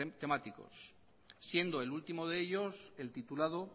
temáticos siendo el último de ellos el titulado